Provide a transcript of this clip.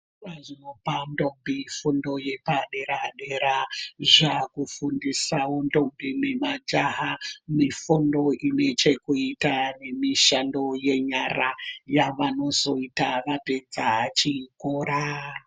Zvikora zvinopa ndombi fundo yepadera-dera, zvakufundisavo ndombi nemajaha. Mifundo inechekuita nemushando yenyara yavanozoita vapedza chikora.